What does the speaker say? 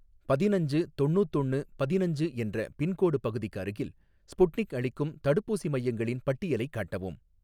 பதினஞ்சு தொண்ணூத்தொன்னு பதினஞ்சு என்ற பின்கோடு பகுதிக்கு அருகில், ஸ்புட்னிக் அளிக்கும் தடுப்பூசி மையங்களின் பட்டியலைக் காட்டவும்